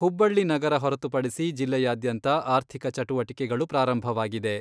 ಹುಬ್ಬಳ್ಳಿ ನಗರ ಹೊರತುಪಡಿಸಿ ಜಿಲ್ಲೆಯಾದ್ಯಂತ ಆರ್ಥಿಕ ಚಟುವಟಿಕೆಗಳು ಪ್ರಾರಂಭವಾಗಿದೆ.